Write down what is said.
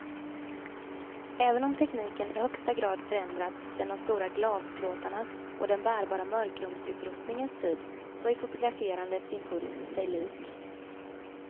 Även om tekniken i högsta grad förändrats sedan de stora glasplåtarnas och den bärbara mörkrumsutrustningens tid, så är fotograferandets impuls sig lik.